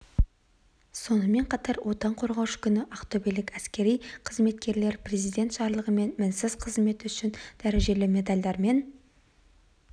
сонымен қатар отан қорғаушы күні ақтөбелік әскери қызметкерлер президент жарлығымен мінсіз қызметі үшін дәрежелі медальдармен